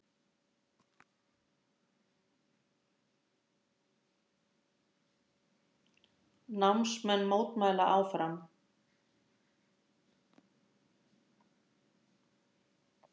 Námsmenn mótmæla áfram